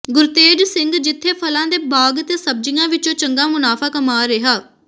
ਗੁਰਤੇਜ ਸਿੰਘ ਜਿੱਥੇ ਫਲਾਂ ਦੇ ਬਾਗ਼ ਤੇ ਸਬਜ਼ੀਆਂ ਵਿੱਚੋਂ ਚੰਗਾ ਮੁਨਾਫ਼ਾ ਕਮਾ ਰਿਹਾ